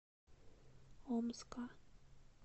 омска